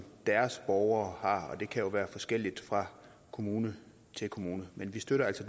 deres borgere har og det kan jo være forskelligt fra kommune til kommune men vi støtter altså